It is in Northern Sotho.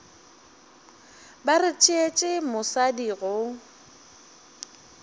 ba re tšeetše mosadi go